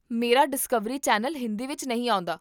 ਮੇਰਾ Discovery channel Hindi ਵਿੱਚ ਨਹੀਂ ਆਉਂਦਾ